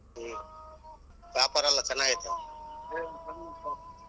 ಹ್ಮ್ ವ್ಯಾಪಾರಾ ಎಲ್ಲಾ ಚನಾಗೈತ?